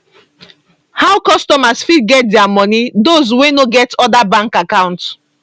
how customers fit get dia money those wey no get oda bank account